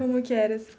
Como que era?